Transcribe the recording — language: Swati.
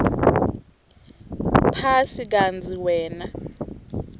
phasi kantsi wena